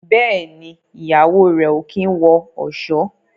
Béèni Ìyàwó rẹ o kín wọ ọṣọ.